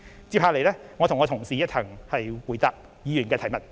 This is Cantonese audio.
接下來我會與我的同事一同回答議員的提問。